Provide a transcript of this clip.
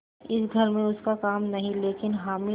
इस घर में उसका काम नहीं लेकिन हामिद